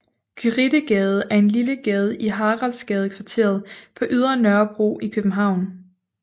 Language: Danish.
Gyritegade er en lille gade i Haraldsgadekvarteret på Ydre Nørrebro i København